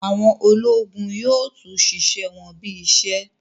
Àwọn ológun yóò tún ṣiṣẹ wọn bí í ṣe